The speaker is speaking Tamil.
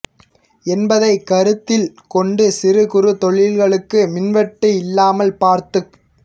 என்பதைக் கருத்தில் கொண்டு சிறு குறு தொழில்களுக்கு மின் வெட்டு இல்லாமல் பார்த்துக்